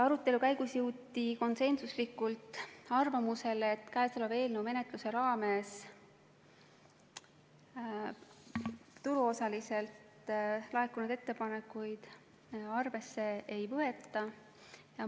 Arutelu käigus jõuti konsensusega arvamusele, et käesoleva eelnõu menetluse raames turuosalistelt laekunud ettepanekuid arvesse ei võeta.